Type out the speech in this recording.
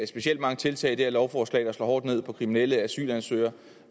specielt mange tiltag i det her lovforslag der slår hårdt ned på kriminelle asylansøgere